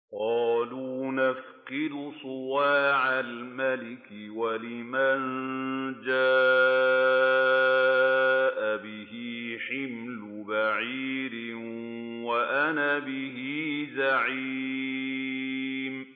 قَالُوا نَفْقِدُ صُوَاعَ الْمَلِكِ وَلِمَن جَاءَ بِهِ حِمْلُ بَعِيرٍ وَأَنَا بِهِ زَعِيمٌ